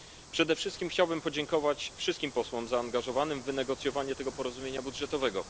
Przede wszystkim chciałbym podziękować wszystkim posłom zaangażowanym w wynegocjowanie tego porozumienia budżetowego.